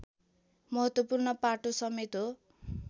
महत्त्वपूर्ण पाटोसमेत हो